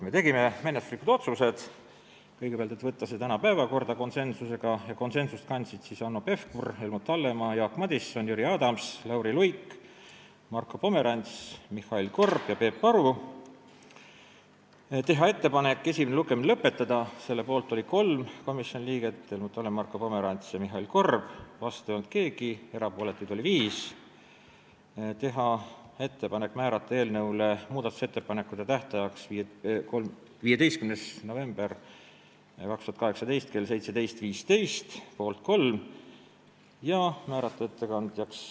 Me tegime ka menetluslikud otsused: kõigepealt, ettepanek võtta see eelnõu tänasesse päevakorda , teha ettepanek esimene lugemine lõpetada ja määrata eelnõu muudatusettepanekute tähtajaks 15. november 2018 kell 17.15 , ettekandjaks määrati teie ees seisja.